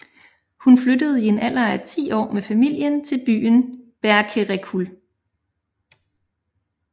Hun flyttede i en alder af 10 år med familien til byen Berkerekul